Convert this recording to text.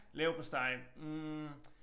Leverpostej hm